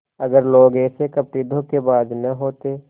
अगर लोग ऐसे कपटीधोखेबाज न होते